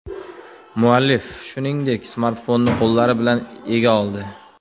Muallif, shuningdek, smartfonni qo‘llari bilan ega oldi.